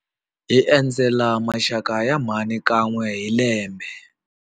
Hi endzela maxaka ya mhani kan'we hi lembe.